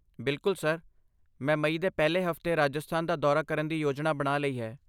ਬਿਲਕੁੱਲ, ਸਰ। ਮੈਂ ਮਈ ਦੇ ਪਹਿਲੇ ਹਫ਼ਤੇ ਰਾਜਸਥਾਨ ਦਾ ਦੌਰਾ ਕਰਨ ਦੀ ਯੋਜਨਾ ਬਣਾ ਲਈ ਹੈ।